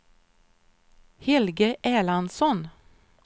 Helge Erlandsson